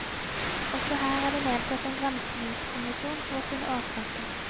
Også her er det nedsatt en granskningskommisjon for å finne årsaken.